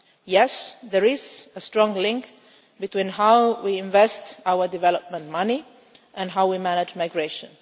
Yes, there is a strong link between how we invest our development money and how we manage migration.